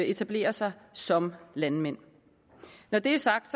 etablere sig som landmænd når det er sagt